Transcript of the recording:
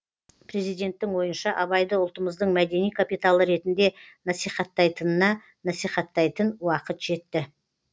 президенттің ойынша абайды ұлтымыздың мәдени капиталы ретінде насихаттайтынына насихаттайтын уақыт жетті